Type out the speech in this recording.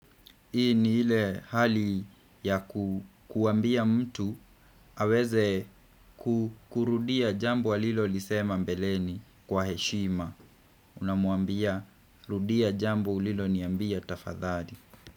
Hii ni ile hali ya kuambia mtu aweze kukurudia jambo alilolisema mbeleni kwa heshima Unamwambia rudia jambo uliloniambia tafadhaadi.